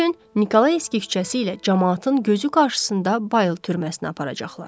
Bu gün Nikolaevski küçəsi ilə camaatın gözü qarşısında Bayıl türməsinə aparacaqlar.